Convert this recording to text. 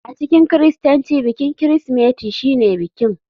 A cikin kiristanci bikin Kirsimeti shine bikin.